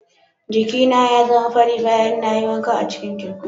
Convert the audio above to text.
Giki na ya zama fari bayan na yi wanka a cikin teku.